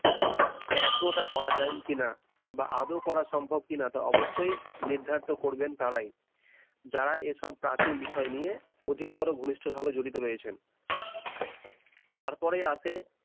এখনো তা করা যায় কিনা বা আদৌ করা সম্ভব কিনা তো অবশ্যই নির্ধারিত করবেন তারাই যারা এসব প্রাচীন বিষয় নিয়ে অধিকতর ঘনিষ্ঠ ভাবে জড়িত রয়েছেন তারপরে আছে